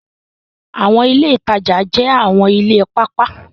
Awọn ile itaja jẹ awọn ile paapaa